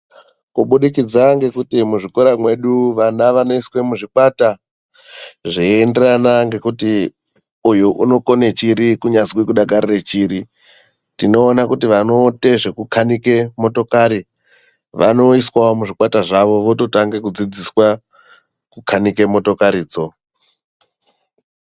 Kubudikidza ngekuti muzvikora mwedu vana vanoiswe muzvikwata zveienderana ngekuti uyu unokone chiri kunyazwi kudakarire chiri, tinona kuti vanoite zvekukanike motokari vanoiswawo muzvikwata zvawo, vototange kudzidziswa kukanike motokaridzo.